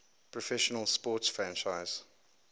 professional sports franchise